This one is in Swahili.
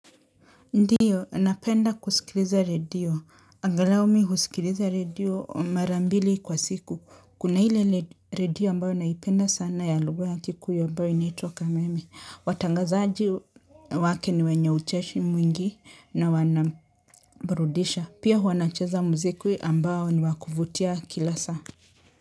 Ndio napenda kusikiliza redio. Angalau mimi husikiliza redio mara mbili kwa siku. Kuna ile redio ambayo naipenda sana ya lugha ya kikuyu ambayo inaitwa kameme. Watangazaji wake ni wenye ucheshi mwingi na wanabrudisha. Pia huwa nacheza muziki ambao ni wakuvutia kila saa.